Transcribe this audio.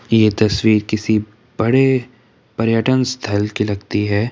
ये तस्वीर किसी बड़े पर्यटन स्थल की लगती है।